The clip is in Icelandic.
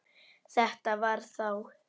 Þetta var þá